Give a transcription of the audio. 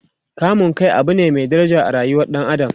kamun Kai Abu ne Mai daraja a rayuwar ɗan adam